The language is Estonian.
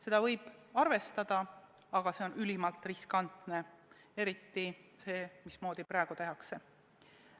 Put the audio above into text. Seda võib arvestada, aga see on ülimalt riskantne, eriti see, mismoodi praegu tehakse.